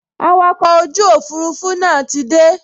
Awakọ̀ ojú òfurufú náà ti dé